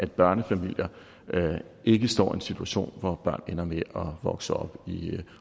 børnefamilier ikke står i den situation at børn ender med at vokse op